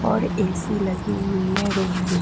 और एसी लगी हुई है रूम में।